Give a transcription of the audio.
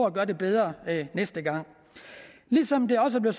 at gøre det bedre næste gang som det også er